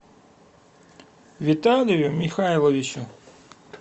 виталию михайловичу